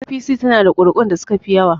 APC is having the highest vote